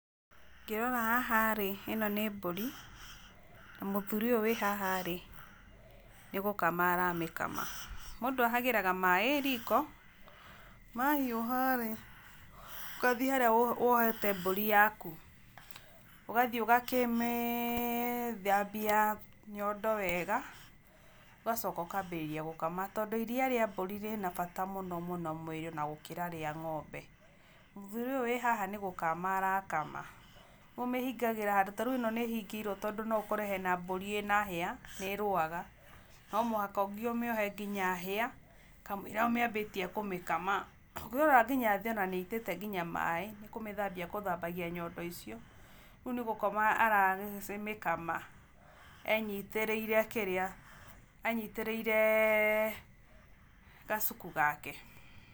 Ngĩrora haha rĩ ĩno nĩ mbũri na mũthuri ũyũ wĩ haha nĩgũkama aramĩkama. Mũndũ ahagagĩra maaĩ riko mahiũharĩ, ũgathiĩ harĩa wohete mbũri yaku, ũgathiĩ ũgakĩmĩthambia nyondo wega, ũgacoka ũkambĩrĩria gũkama, tondũ iria rĩa mbũri rĩna bata mũno mũno mwĩrĩ ona gũkĩra rĩa ng'ombe. Mũthuri ũyũ wĩ haha nĩgũkama arakama, rĩu ũmĩhingagĩra handũ, ta rĩu ĩno no ũkore mbũri ĩ na hĩa nĩrũaga, no nginya ũmĩohe nginya hĩa kamũira ũmĩambĩtie kũmĩkama. Ũngĩrora nginya thĩ nĩaitĩte maaĩ nĩgũthambia agũthambagia nyondo icio, rĩu nĩkũmĩkama aramĩkama anyitĩrĩire gacuku gake.